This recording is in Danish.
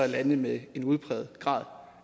lande med en udpræget grad